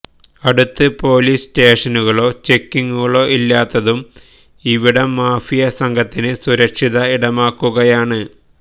അടുത്ത് പോലീസ് സ്റ്റേഷനുകളോ ചെക്കിങുകളോ ഇല്ലാത്തതും ഇവിടം മാഫിയാ സംഘത്തിന് സുരക്ഷിത ഇടമാകുകയാണ്